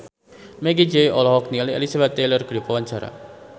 Meggie Z olohok ningali Elizabeth Taylor keur diwawancara